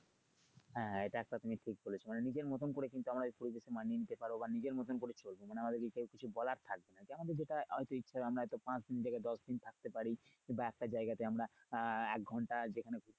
হ্যা এটা একটা তুমি ঠিক বলেছো মানে নিজের মতন করে কিন্তু আমরা এই পরিবেশটা মানিয়ে নিতে পারব। বা নিজের মতন করে চলবো। মানে আমাদেরকে কেউ কিছু বলার থাকবে না যেমন ধরো হয়তো ইচ্ছে করে আমরা এটা পাচদিন থেকে দশদিন থাকতে পারি কিংবা একটা জায়গাতে আমরা আহ এক ঘন্টা যেখানে